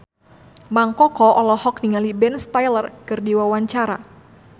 Mang Koko olohok ningali Ben Stiller keur diwawancara